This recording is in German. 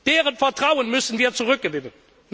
Deren Vertrauen müssen wir zurückgewinnen?